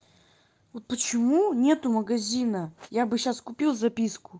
вот почему нет магазина я бы сейчас купил записку